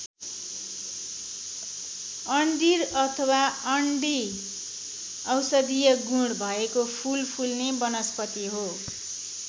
अँडिर अथवा अंडी औषधिय गुण भएको फूल फुल्ने वनस्पति हो।